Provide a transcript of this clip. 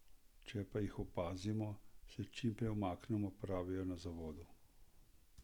Če pa jih opazimo, se čim prej umaknimo, pravijo na zavodu.